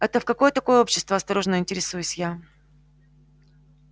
это в какое такое общество осторожно интересуюсь я